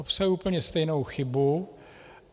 Obsahuje úplně stejnou chybu.